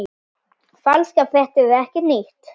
Falskar fréttir eru ekkert nýtt.